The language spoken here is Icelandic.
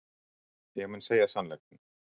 Ég mun segja sannleikann.